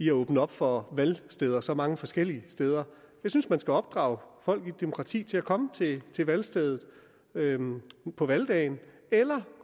at åbne op for valgsteder så mange forskellige steder jeg synes man skal opdrage folk i et demokrati til at komme til valgstedet på valgdagen eller